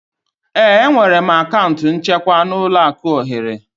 Ee, enwere m akaụntụ nchekwa n'ụlọaku ohere